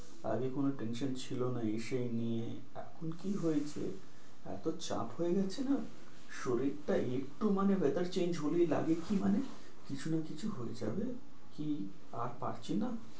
আগে কোন tension ছিল না এই সেই নিয়ে এখন কি হয়েছে, এত চাপ হয়ে গেছে না শরীরটা একটু মানে weather change হলেই লাগে কি মানে কিছু না কিছু হয়ে যাবে কি আর পারছি না,